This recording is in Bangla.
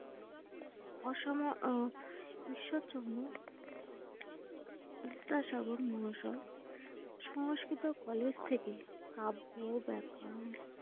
অসম আহ ঈশ্বরচন্দ্র বিদ্যাসাগর মহাশয় সংস্কৃত কলেজ থেকে কাব্য, ব্যাকরণ,